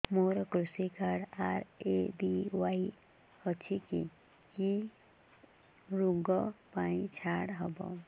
ମୋର କୃଷି card RSBY ଅଛି କି କି ଋଗ ପାଇଁ ଛାଡ଼ ହବ